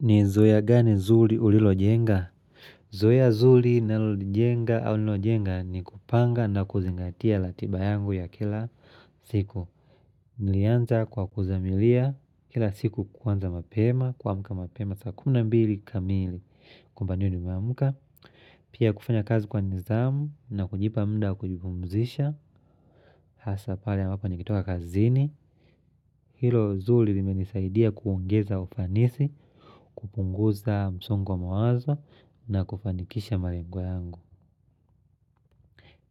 Ni zoya gani zuli ulilo jenga? Zoya zuli ninanalo jenga ni kupanga na kuzingatia latiba yangu ya kila siku. Nilianza kwa kuzamilia kila siku kuanza mapema, kuamka mapema, saa kumi na mbili kamili kwamba niwe nimeamuka. Pia kufanya kazi kwa nizamu na kujipa mda kujipumzisha. Hasa pale ambapo nikitoka kazini. Hilo zuli limenisaidia kuongeza ufanisi, kupunguza msungo wa mawazo na kufanikisha malengo yangu